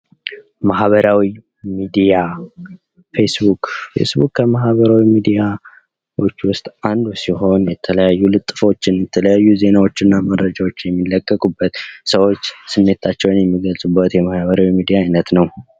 ማህበራዊ ሚድያ ፌስቡክ፦ ፌስቡክ ከማህበራዊ ሚዲያዎች ውስጥ አንዱ ሲሆን የተለያዩ ልጥፎችን፥ የተለያዩ ዜናዎችና መረጃዎች የሚለቀቁበት ፥ ሰዎች ስሜታቸውን የሚገልጹበት ፥ የማህበራዊ ሚድያ አይነት ነው።